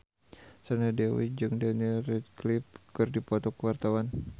Sandra Dewi jeung Daniel Radcliffe keur dipoto ku wartawan